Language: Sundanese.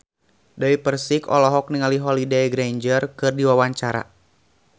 Dewi Persik olohok ningali Holliday Grainger keur diwawancara